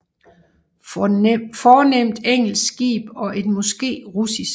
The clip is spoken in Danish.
Fornemt engelsk skib og et måske russisk